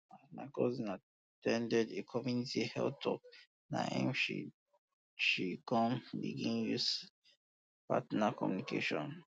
as my cousin at ten ded a community health talk na em she she come begin use partner communication